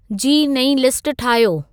जी नई लिस्ट ठाहियो